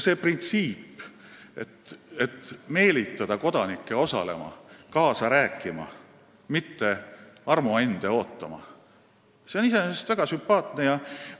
See, et meelitada kodanikke osalema, kaasa rääkima, mitte armuande ootama, on iseenesest väga sümpaatne printsiip.